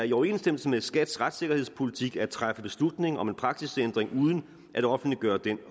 i overensstemmelse med skats retssikkerhedspolitik at træffe beslutning om en praksisændring uden at offentliggøre den